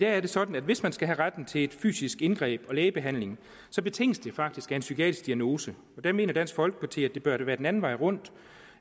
er det sådan at hvis man skal have retten til et fysisk indgreb og lægebehandling betinges det faktisk af en psykiatrisk diagnose og der mener dansk folkeparti at det bør være den anden vej rundt